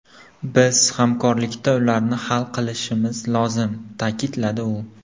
Biz hamkorlikda ularni hal qilishimiz lozim”, ta’kidladi u.